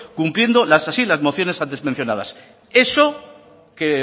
cumpliendo así las mociones antes mencionadas eso que